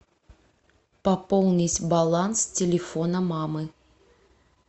пополнить баланс телефона мамы